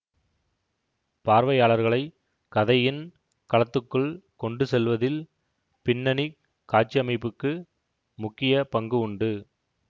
பார்வையாளர்களை கதையின் களத்துக்குள் கொண்டு செல்வதில் பின்னணி காட்சியமைப்புக்கு முக்கிய பங்கு உண்டு